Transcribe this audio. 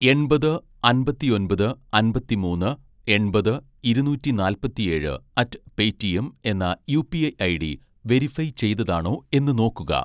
എണ്‍പത് അമ്പത്തിഒന്‍പത് അമ്പത്തിമൂന്ന് എണ്‍പത് ഇരുന്നൂറ്റി നാല്‍പത്തിഏഴ് അറ്റ് പേറ്റിഎം എന്ന യുപിഐ ഐഡി വെരിഫൈ ചെയ്തതാണോ എന്ന് നോക്കുക